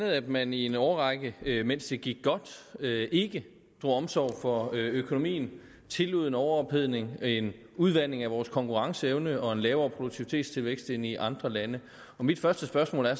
at man i en årrække mens det gik godt ikke drog omsorg for økonomien tillod en overophedning en udvanding af vores konkurrenceevne og en lavere produktivitetstilvækst end i andre lande mit første spørgsmål er